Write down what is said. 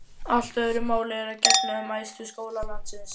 Allt öðru máli er að gegna um æðstu skóla landsins.